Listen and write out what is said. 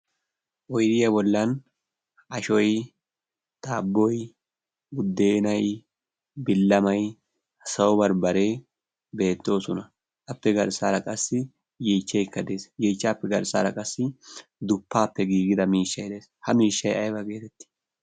Oydiyaa bollan ashoy daabboy buuddeenay billamay sawo baribaree beettoosona. Appe garssaara qassi yeechchaykka de'ees. Yeechchaappi garssaara qassi duppaappe giigida miishshay de'ees. Ha miishshay ayba geetetti?